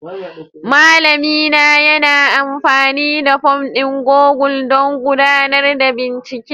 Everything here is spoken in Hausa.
Malamina yana amfani da fom ɗin Google don gudanar da bincike